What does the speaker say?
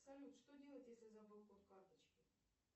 салют что делать если забыл код карточки